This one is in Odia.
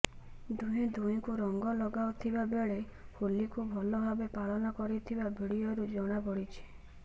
ଦୁହେଁ ଦୁହିଁଙ୍କୁ ରଙ୍ଗ ଲଗାଉଥିବା ବେଳେ ହୋଲିକୁ ଭଲ ଭାବେ ପାଳନ କରିଥିବା ଭିଡ଼ିଓରୁ ଜଣା ପଡ଼ିଛି